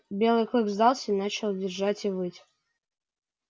белый клык сдался и начал визжать и выть